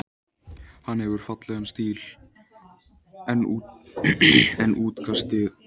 Hann hefur fallegan stíl, en útkastið tæpast nógu kröftugt.